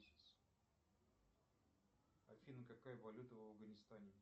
афина какая валюта в афганистане